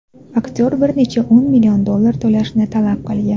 Aktyor bir necha o‘n million dollar to‘lashni talab qilgan.